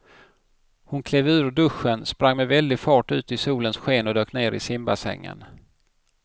Hon klev ur duschen, sprang med väldig fart ut i solens sken och dök ner i simbassängen.